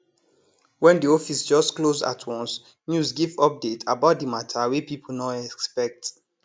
wen di office just close at once news give update about di matter wey people nor expect